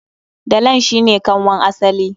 Dalan shi ne kanwan asali.